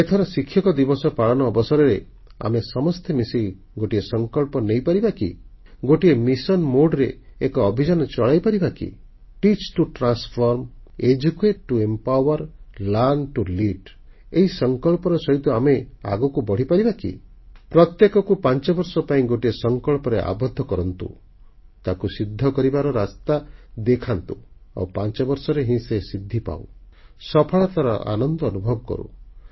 ଏଥର ଶିକ୍ଷକ ଦିବସ ପାଳନ ଅବସରରେ ଆମେ ସମସ୍ତେ ମିଶି ଗୋଟିଏ ସଂକଳ୍ପ ନେଇପାରିବା କି ଗୋଟିଏ ମିଶନ ମୋଡେ ରେ ଏକ ଅଭିଯାନ ଚଳାଇପାରିବା କି teach to transform educate to empower learn to lead ଏହି ସଂକଳ୍ପର ସହିତ ଆମେ ଆଗକୁ ବଢ଼ିପାରିବା କି ପ୍ରତ୍ୟେକକୁ 5 ବର୍ଷ ପାଇଁ ଗୋଟିଏ ସଂକଳ୍ପରେ ଆବଦ୍ଧ କରନ୍ତୁ ତାକୁ ସିଦ୍ଧ କରିବାର ରାସ୍ତା ଦେଖାନ୍ତୁ ଆଉ ପାଞ୍ଚବର୍ଷରେ ହିଁ ସେ ସିଦ୍ଧି ପାଉ ସଫଳତାର ଆନନ୍ଦ ଅନୁଭବ କରୁ